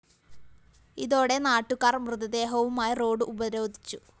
ഇതോടെ നാട്ടുകാര്‍ മൃതദേഹവുമായി റോഡ്‌ ഉപരോധിച്ചു